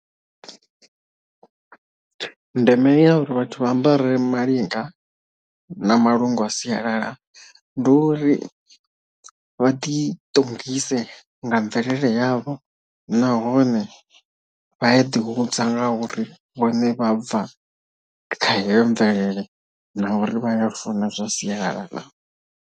Ndeme ya uri vhathu vha ambare malinga na malungu a sialala ndi uri vha ḓi ṱongise nga mvelele yavho nahone vha ya ḓi hudza nga uri vhone vha bva khaheyo mvelele na uri vha funa zwa sialala.